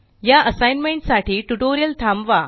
या असाइनमेंट साठी ट्यूटोरियल थांबवा